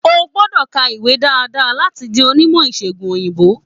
O gbọ́dọ̀ ka ìwé dáadáa láti di onímọ̀ ìṣègùn òyìnbó